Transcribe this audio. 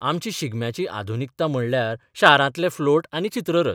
आमची शिगम्याची आधुनिकता म्हणल्यार शारांतले फ्लोट आनी चित्ररथ.